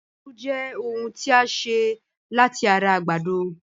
Gúgúrú Jẹ́ ohun tí a ṣe láti ara àgbàdo